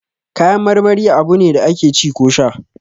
Kayan marmari abune da ake ci ko sha